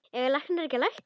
Eiga læknar ekki að lækna?